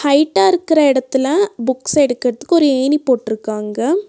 ஹைட்டா இருக்குற எடத்துல புக்ஸ் எடுக்கற்துக்கு ஒரு ஏணி போட்ருக்காங்க.